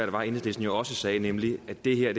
var enhedslisten jo også sagde nemlig at det her